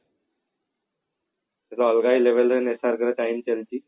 SRK ର time ଚାଲିଛି